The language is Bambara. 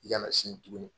I kana sigi tugun